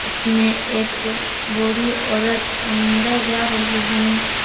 उसमें एक बूढी औरत अन्दर जा रही हैम --